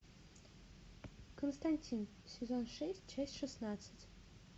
константин сезон шесть часть шестнадцать